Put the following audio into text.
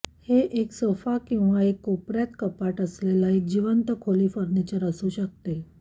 हे एक सोफा किंवा एक कोपर्यात कपाट असलेला एक जिवंत खोली फर्निचर असू शकते